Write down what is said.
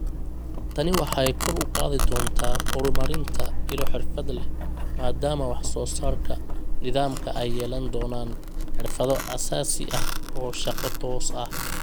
Tani waxay kor u qaadi doontaa horumarinta ilo xirfad leh maadaama wax soo saarka nidaamka ay yeelan doonaan xirfado aasaasi ah oo shaqo toos ah.